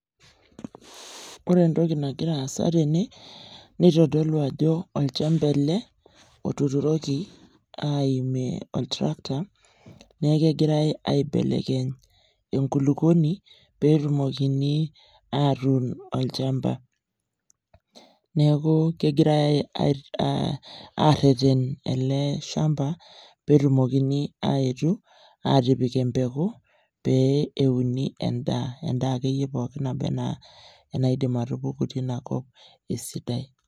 Ore entoki nagira aasa tene nitodolu ajo olchamba ele otuturoki aimie otrakta nee kegirai aibelekeny enkukoni peetumokini atuun olchamba. Neeku kegirai ai ai aareten ele shamba peetumokini aaetu aatipik empeku pee euni endaa, endaa akeyie pookin nabaa enaa enaidim atupuku tina kop esidai.